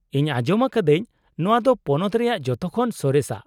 -ᱤᱧ ᱟᱸᱡᱚᱢ ᱟᱠᱟᱫᱟᱹᱧ ᱱᱚᱶᱟ ᱫᱚ ᱯᱚᱱᱚᱛ ᱨᱮᱭᱟᱜ ᱡᱚᱛᱚᱠᱷᱚᱱ ᱥᱚᱨᱮᱥᱟᱜ ?